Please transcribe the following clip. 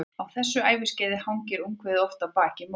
Á þessu æviskeiði hangir ungviðið oft á baki móður sinnar.